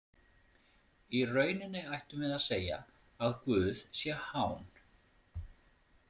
Í rauninni ættum við að segja að Guð sé hán.